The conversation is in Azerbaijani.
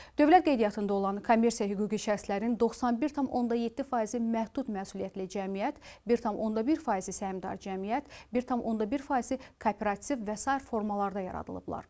Dövlət qeydiyyatında olan kommersiya hüquqi şəxslərin 91,7 faizi məhdud məsuliyyətli cəmiyyət, 1,1 faizi səhmdar cəmiyyət, 1,1 faizi kooperativ və sair formalarda yaradılıblar.